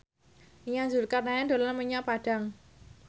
Nia Zulkarnaen dolan menyang Padang